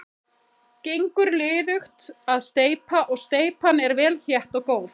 Gengur liðugt að steypa og steypan er vel þétt og góð.